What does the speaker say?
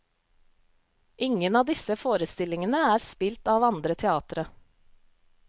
Ingen av disse forestillingene er spilt av andre teatre.